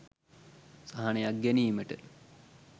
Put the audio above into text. සහනයක් ගැනීමට